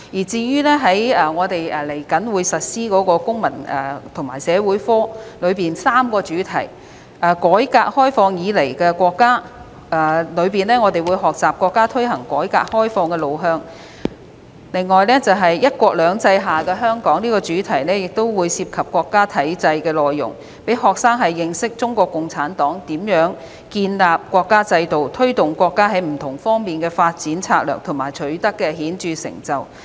至於即將推行的公民與社會發展科的3個主題，在"改革開放以來的國家"的主題下，學生會學習國家推行改革開放的路向；"'一國兩制'下的香港"這個主題會涉及國家體制的內容，讓學生認識中國共產黨如何建立國家制度、推動國家在不同方面的發展策略及所取得的顯著成就。